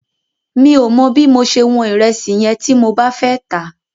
Mi ò mọ bí mo ṣe wọn ìrẹsì yẹn tí mo bá fẹ́ tà á.